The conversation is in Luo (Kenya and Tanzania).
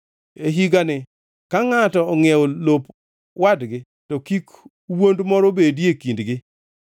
E higani ka ngʼato ongʼiewo lop wadgi to kik wuond moro bedie kindgi.